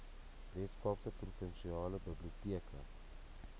weskaapse provinsiale biblioteke